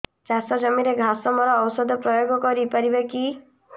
ଚାଷ ଜମିରେ ଘାସ ମରା ଔଷଧ ପ୍ରୟୋଗ କରି ପାରିବା କି